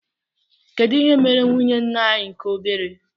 kedụ ihe mere nwụnye ńnà anyị nke obere?